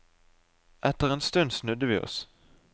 Etter en stund snudde vi oss.